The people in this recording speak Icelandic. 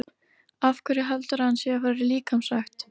Af hverju heldurðu að hann sé að fara í líkamsrækt?